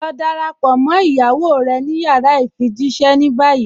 Lọ dáràpọ̀ mọ́ iyàwó rẹ̀ ní yàrá ifijíṣẹ̀ ní báyì.